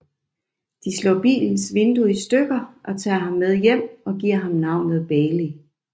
De slår bilens vindue i stykker og tager ham med hjem og giver ham navnet Bailey